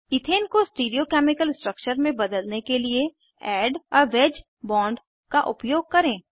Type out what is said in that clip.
ethane को stereo chemical structure में बदलने के लिए एड आ वेज बोंड का उपयोग करें